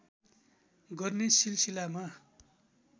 गर्ने सिलसिलामा